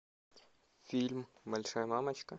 фильм большая мамочка